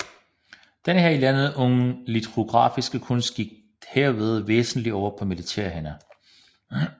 Den her i landet unge litografiske kunst gik herved væsentlig over på militære hænder